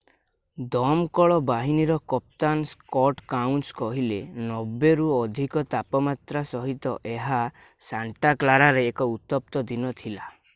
ଦମକଳ ବାହିନୀର କପ୍ତାନ ସ୍କଟ୍ କାଉନ୍ସ କହିଲେ 90 ରୁ ଅଧିକ ତାପମାତ୍ରା ସହିତ ଏହା ସାଣ୍ଟାକ୍ଲାରାରେ ଏକ ଉତ୍ତପ୍ତ ଦିନ ଥିଲା